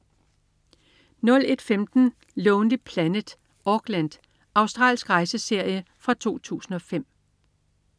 01.15 Lonely Planet: Auckland. Australsk rejseserie fra 2005